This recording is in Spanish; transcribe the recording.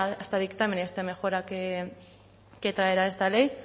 a este dictamen y a esta mejora que traerá esta ley